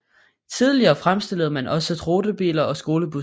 Tidligere fremstillede man også rutebiler og skolebusser